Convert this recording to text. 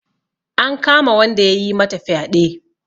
An kama wanda yayi mata fyaɗe.